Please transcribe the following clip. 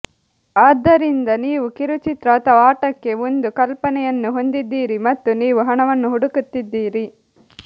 ಆದ್ದರಿಂದ ನೀವು ಕಿರುಚಿತ್ರ ಅಥವಾ ಆಟಕ್ಕೆ ಒಂದು ಕಲ್ಪನೆಯನ್ನು ಹೊಂದಿದ್ದೀರಿ ಮತ್ತು ನೀವು ಹಣವನ್ನು ಹುಡುಕುತ್ತಿದ್ದೀರಿ